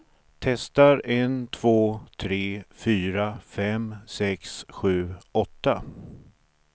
Testar en två tre fyra fem sex sju åtta.